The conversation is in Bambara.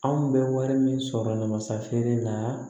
Anw bɛ wari min sɔrɔ masa feere la